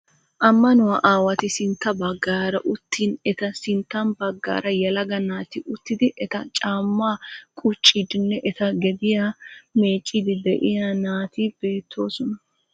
Ammanuwaa aawati sintta baggaara uttin eta sinttan baggaara yelaga naati uttidi eta caammaa quccidinne eta gediyaa meecciidi de'iyaa naati beettoosona.